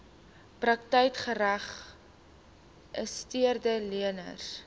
praktyke geregistreede leners